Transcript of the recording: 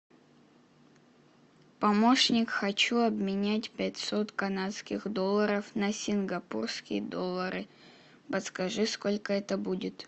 помощник хочу обменять пятьсот канадских долларов на сингапурские доллары подскажи сколько это будет